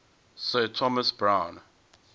sir thomas browne